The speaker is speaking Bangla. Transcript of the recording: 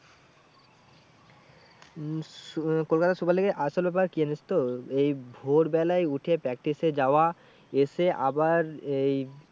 উম kolkata super league এর আসল ব্যাপার কি জানিস তো এই ভোর বেলায় উঠে practice এ যাওয়া এসে আবার এই